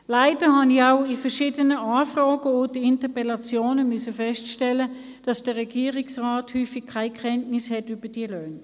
Leider habe ich auch in verschiedenen Anfragen und Interpellationen feststellen müssen, dass der Regierungsrat häufig keine Kenntnis von diesen Löhnen hat.